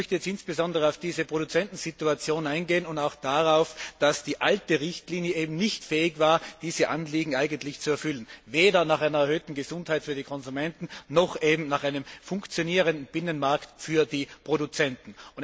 Ich möchte jetzt insbesondere auf diese Produzentensituation eingehen und auch darauf, dass die alte Richtlinie nicht fähig war, diese Anliegen zu erfüllen, weder nach einer erhöhten Gesundheit für die Konsumenten noch nach einem funktionierenden Binnenmarkt für die Produzenten.